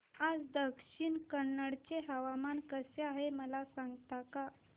आज दक्षिण कन्नड चे हवामान कसे आहे मला सांगता का